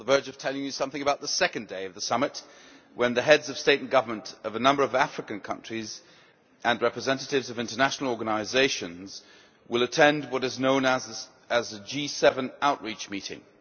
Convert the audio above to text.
Thank you, Madam President. I was on the verge of telling you something about the second day of the summit when the Heads of State and Government of a number of African countries and representatives of international organisations will attend what is known as a G7 Outreach' meeting.